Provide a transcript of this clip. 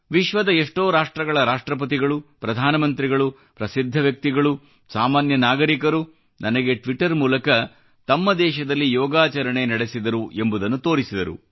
ವಿಶ್ವದ ಎಷ್ಟೋ ರಾಷ್ಟ್ರಗಳ ರಾಷ್ಟ್ರಪತಿಗಳು ಪ್ರಧಾನ ಮಂತ್ರಿಗಳು ಪ್ರಸಿದ್ಧ ವ್ಯಕ್ತಿಗಳು ಸಾಮಾನ್ಯ ನಾಗರಿಕರು ನನಗೆ ಟ್ವಿಟ್ಟರ್ ಮೂಲಕ ತಮ್ಮ ದೇಶದಲ್ಲಿ ಯೋಗಾಚರಣೆ ನಡೆಸಿದರು ಎಂಬುದನ್ನು ತೋರಿಸಿದರು